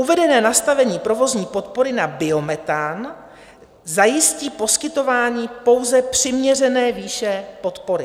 Uvedené nastavení provozní podpory na biometan zajistí poskytování pouze přiměřené výše podpory.